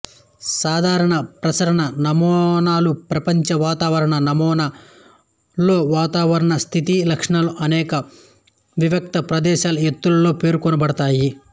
సాధారణ ప్రసరణ నమూనాలుప్రపంచ వాతావరణ నమూనాలలోవాతావరణ స్థితి లక్షణాలు అనేక వివిక్త ప్రదేశాల ఎత్తులలో పేర్కొనబడతాయి